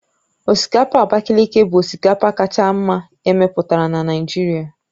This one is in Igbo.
Osikapa Abakaliki bụ osikapa kacha mma emepụtara na Naịjirịa